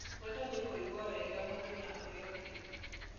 Wendo nĩ kũigua wega mũndũ na ũrĩa ũngĩ.